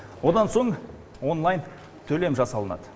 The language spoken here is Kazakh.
одан соң онлайн төлем жасалынады